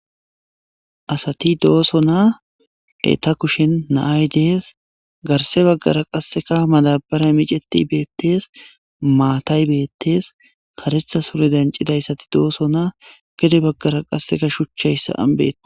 Assati dosona etta kushen nayayi desi garise baggara qassi madabrey micet betesi matayi betse karetha sure danicidaysati gede bagara qassi shuchayi sa'ani betesidossona